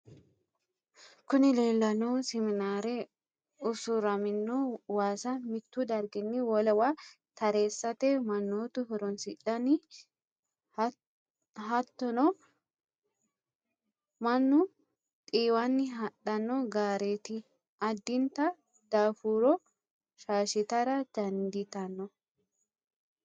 kuni leellanohu siminaare usuramino waasa mittu darginni wolewa tareesate mannotu horoonsidhanno. hattonni mannu xiwanna hadhanno gaareti. addinta daafuro shaashitara danditanno.